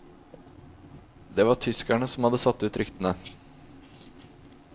Det var tyskerne som hadde satt ut ryktene.